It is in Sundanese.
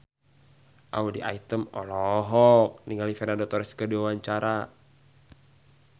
Audy Item olohok ningali Fernando Torres keur diwawancara